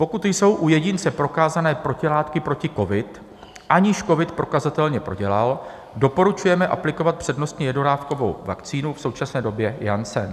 Pokud jsou u jedince prokázané protilátky proti covidu, aniž covid prokazatelně prodělal, doporučujeme aplikovat přednostně jednodávkovou vakcínu - v současné době Janssen.